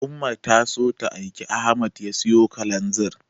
Umma ta so ta aiki Ahmad ya siyo Kalanzir.